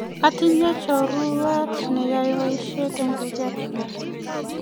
atinye choruet ne yae boishet eng dukrt notok